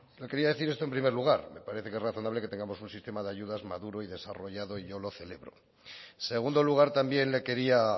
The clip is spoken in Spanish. quería decir esto en primer lugar me parece que es razonable que tengamos un sistema de ayudas maduro y desarrollado y yo lo celebro en segundo lugar también le quería